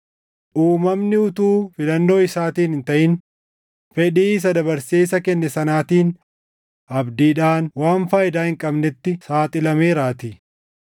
Uumamni utuu filannoo isaatiin hin taʼin, fedhii isa dabarsee isa kenne sanaatiin abdiidhaan waan faayidaa hin qabnetti saaxilameeraatii;